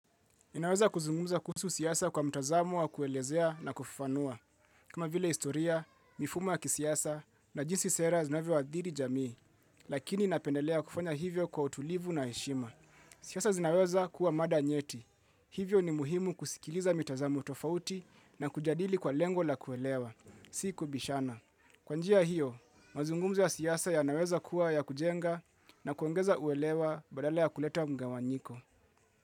Ninaweza kuzungumza kuhusu siasa kwa mtazamo wa kuelezea na kufufanua. Kama vile historia, mifumo ya kisiasa na jinsi sera zinavyoadhiri jamii, lakini napendelea kufanya hivyo kwa utulivu na heshima. Siysa zinaweza kuwa mada nyeti. Hivyo ni muhimu kusikiliza mitazamo tofauti na kujadili kwa lengo la kuelewa. Sikubishana. Kwa njia hiyo, mazungumzo ya siasa yanaweza kuwa ya kujenga na kuongeza uelewa badala ya kuleta mgawanyiko.